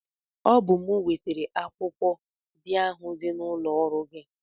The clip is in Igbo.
Ọ bụ m bụ wetara akwụkwọ dị ahụ n'ụlọ ọrụ gị.